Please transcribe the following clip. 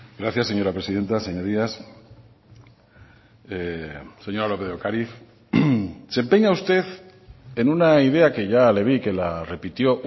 gracias señora presidenta señorías señora lópez de ocariz se empeña usted en una idea que ya le vi que la repitió